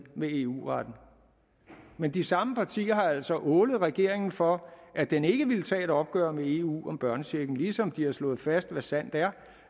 med eu retten men de samme partier har altså ålet regeringen for at den ikke ville tage et opgør med eu om børnechecken ligesom de har slået fast hvad sandt er